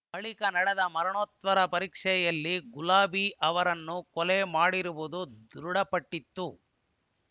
ಬಳಿಕ ನಡೆದ ಮರಣೋತ್ತರ ಪರೀಕ್ಷೆಯಲ್ಲಿ ಗುಲಾಬಿ ಅವರನ್ನು ಕೊಲೆ ಮಾಡಿರುವುದು ದೃಢಪಟ್ಟಿತ್ತು